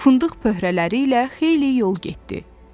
Fındıq pöhrələri ilə xeyli yol getdi.